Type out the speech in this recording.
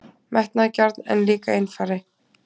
Metnaðargjarn, en líka einfari.